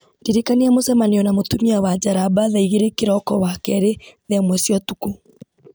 ndirikania mũcemanio na mũtumia wa njaramba thaa igĩrĩ kĩroko wakerĩ thaa ĩmwe cia ũtukũ